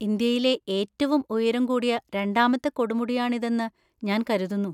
ഇന്ത്യയിലെ ഏറ്റവും ഉയരം കൂടിയ രണ്ടാമത്തെ കൊടുമുടിയാണിതെന്ന് ഞാൻ കരുതുന്നു?